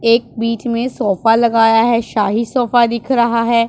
एक बीच में सोफा लगाया है शाही सोफा दिख रहा है।